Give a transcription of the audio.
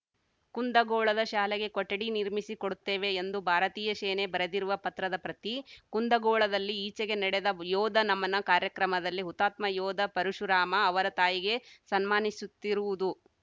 ಕುಂದಗೋಳದ ಶಾಲೆಗೆ ಕೊಠಡಿ ನಿರ್ಮಿಸಿಕೊಡುತ್ತೇವೆ ಎಂದು ಭಾರತೀಯ ಶೇನೆ ಬರೆದಿರುವ ಪತ್ರದ ಪ್ರತಿ ಕುಂದಗೋಳದಲ್ಲಿ ಈಚೆಗೆ ನಡೆದ ಯೋಧ ನಮನ ಕಾರ್ಯಕ್ರಮದಲ್ಲಿ ಹುತಾತ್ಮ ಯೋಧ ಪರಶುರಾಮ ಅವರ ತಾಯಿಗೆ ಸನ್ಮಾನಿಸುತ್ತಿರುವುದು